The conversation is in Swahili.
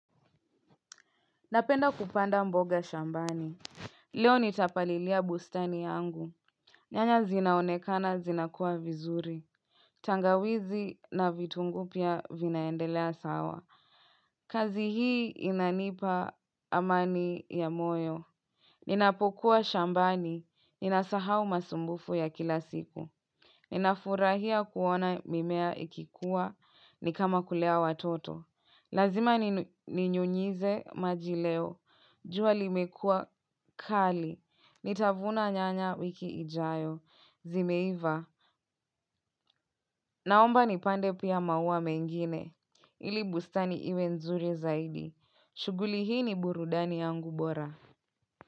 Napenda kupanda mboga shambani. Leo nitapalilia bustani yangu. Nyanya zinaonekana zinakua vizuri. Tangawizi, na vitunguu pia, vinaendelea sawa. Kazi hii inanipa amani, ya moyo. Ninapokuwa shambani, ninasahau masumbufu ya kila siku. Ninafurahia kuona mimea ikikua, ni kama kulea watoto. Lazima ninyunyize maji leo. Jua limekua kali. Nitavuna nyanya wiki ijayo. Zimeiva. Naomba nipande pia maua mengine. Ili bustani iwe nzuri zaidi. Shughuli hii ni burudani yangu bora.